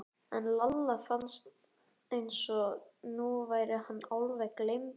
En Lalla fannst eins og nú væri hann alveg gleymdur.